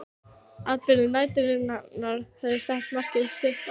Atburðir næturinnar höfðu sett mark sitt á